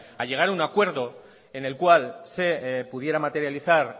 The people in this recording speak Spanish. a llegar a un acuerdo en el cual se pudiera materializar